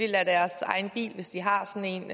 lader deres egen bil hvis de har sådan